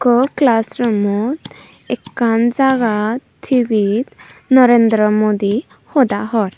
okkho class rummot ekkan jagat tivit Narendra Modi hoda hor.